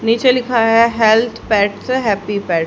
नीचे लिखा है हेल्थ पैट्स हैप्पी पेट ।